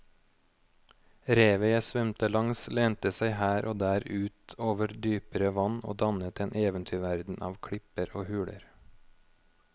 Revet jeg svømte langs lente seg her og der ut over dypere vann og dannet en eventyrverden av klipper og huler.